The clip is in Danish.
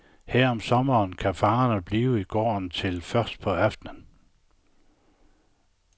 Her om sommeren kan fangerne blive i gården til først på aftenen.